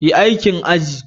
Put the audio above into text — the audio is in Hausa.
Yi aikin aji.